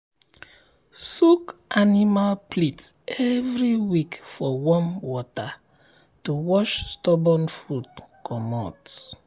soak animal plate every week for warm water to wash stubborn food comot.